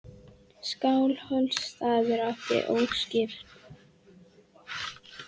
Skálholtsstaður átti óskipt tilkall til rekans við Þorlákshöfn.